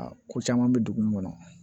Aa ko caman bɛ dugu min kɔnɔ